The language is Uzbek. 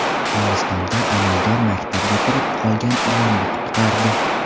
Hindistonda amaldor maktabga kirib qolgan ilonni qutqardi.